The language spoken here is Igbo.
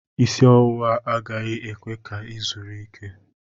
Isi ọwụwa agaghị ekwe ka ị zuru ike.